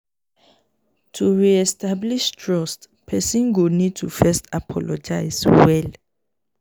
to re-establish trust person go need to first apologize well